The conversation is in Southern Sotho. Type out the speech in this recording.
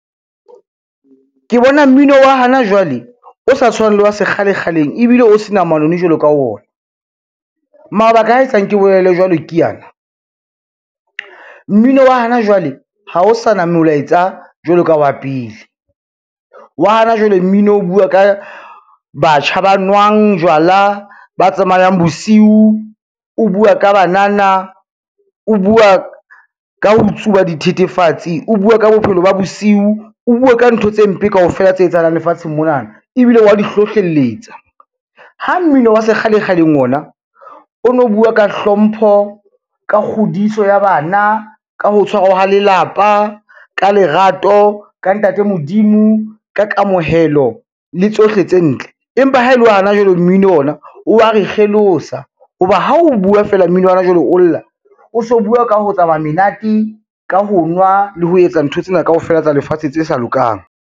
Ke bona mmino wa hana jwale, o sa tshwana le wa sekgalekgaleng ebile o se na manoni jwalo ka ona. Mabaka a etsang ke bolele jwalo ke ana, mmino wa hana jwale ha o sana molaetsa jwalo ka wa pele. Wa hana jwale mmino o bua ka batjha ba nwang jwala, ba tsamayang bosiu, o bua ka banana, o bua ka ho tsuba dithethefatsi, o bua ka bophelo ba bosiu, o bua ka ntho tse mpe kaofela tse etsahalang lefatsheng mona ebile wa di hlohlelletsa. Ha mmino wa sekgalekgaleng ona o no bua ka hlompho, ka kgodiso ya bana, ka ho tshwara lelapa, ka lerato, ka ntate Modimo, ka kamohelo le tsohle tse ntle. Empa ha e le hana jwale mmino ona o wa re kgelosa, ho ba ha o bua feela mmino wa hona jwale o lla, o so bua ka ho tsamaya menate, ka ho nwa le ho etsa ntho tsena kaofela tsa lefatshe tse sa lokang.